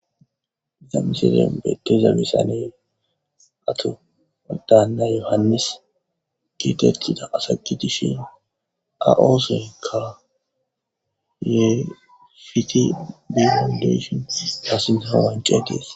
Zamiseden beteza misane ato adaanna yohannis giitettida asagi dishin aooseykka ye fiti diandeshion paassinawancee tees.